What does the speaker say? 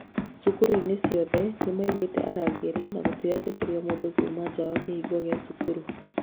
Cũkurũ-inĩ ciothe nĩmaigĩte arangĩri na gũtiretikĩrio mũndũ kuma nja wa kĩhingo gĩa cukuru